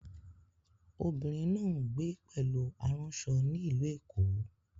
Obìnrin náà ń gbé pẹ̀lú aránṣọ ní Ìlú Èkó